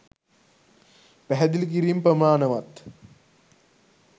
පැහැදිළි කිරීම් ප්‍රමාණවත්